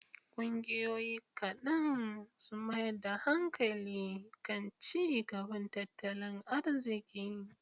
Ƙungiyoyi kaɗan sun mayar da hankali kan ci gaban tattalin arziki.